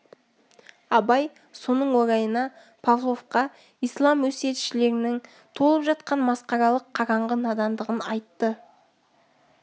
абай соның орайына павловқа ислам өсиетшілерінің толып жатқан масқаралық қараңғы надандығын айтты